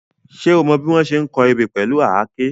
Ṣé o mọ bí wọ́n ṣe ń kọ ebè pẹ̀lú àáké?